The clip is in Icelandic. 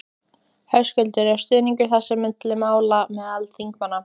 Höskuldur: Er stuðningur fyrir þessu máli meðal þingmanna?